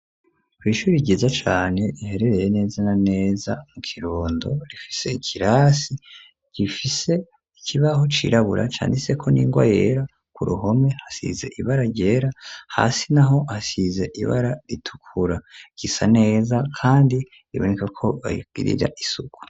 Kw'shuri ryiza cane, iherereye neza naneza mu kirondo, rifise ikirasi gifise ikibaho cirabura ,canditse ko n'ingwa yera, ku ruhome hasize ibara ryera, hasi naho hasize ibara ritukura, risa neza kandi riboneka ko bagirira isuku.